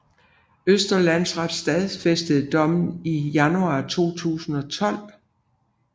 Østre Landsret stadfæstede dommen i januar 2012